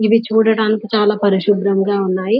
ఇవి చూడ్డానికి చాలా పరిశుభ్రంగా ఉన్నాయి.